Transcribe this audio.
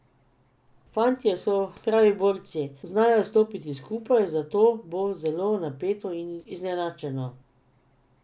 Fantje so pravi borci, znajo stopiti skupaj, zato bo zelo napeto in izenačeno.